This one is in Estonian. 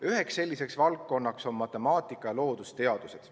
Üheks selliseks valdkonnaks on matemaatika ja loodusteadused.